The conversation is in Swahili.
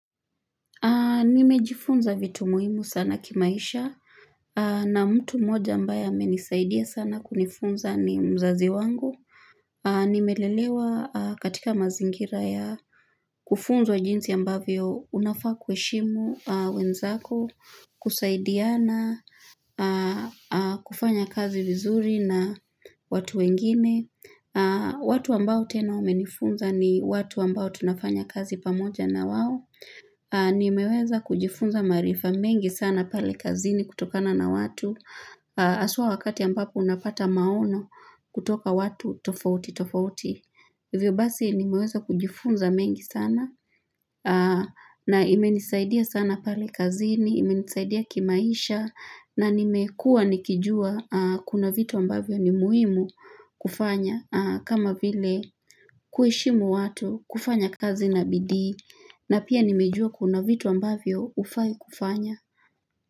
Nimejifunza vitu muhimu sana kimaisha na mtu mmoja ambaye amenisaidia sana kunifunza ni mzazi wangu. Nimelelewa katika mazingira ya kufunzwa wa jinsi ambavyo unafaa kuheshimu wenzako, kusaidiana, kufanya kazi vizuri na watu wengine. Watu ambao tena wamenifunza ni watu ambao tunafanya kazi pamoja na wao. Nimeweza kujifunza maarifa mengi sana pale kazini kutokana na watu. Haswa wakati ambapo unapata maono kutoka watu tofauti tofauti. Hivyo basi nimeweza kujifunza mengi sana na imenisaidia sana pale kazini, imenisaidia kimaisha na nimekua nikijua kuna vitu ambavyo ni muhimu kufanya kama vile kuheshimu watu kufanya kazi na bidii na pia nimejua kuna vitu ambavyo hufai kufanya.